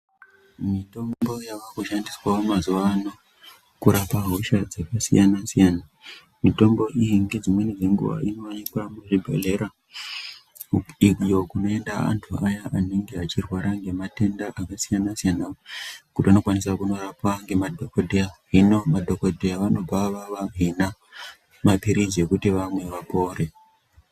Mitombo yaakushandiswawo mazuva ano kurape hosha dzakasiyana-siyana, mitombo iyi ngedzimweni dzenguwa inooneka muzvibhedhlera iyo kunoenda anthu aya anenge eirwara ngematenda akasiyana-siyana kuti anokwanisa kundorapwa ngemadhokodheya. Hino madhokodheya anobva avahina maphirizi ekuti vamwe kuti vapore.